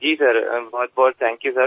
जी sir बहुतबहुत thank you sir